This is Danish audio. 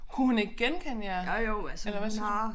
Kunne hun ikke genkende jer eller hvad sagde du